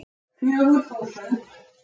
Fjögur þúsund